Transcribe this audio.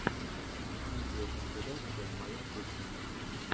видеокомпиляция моя кухня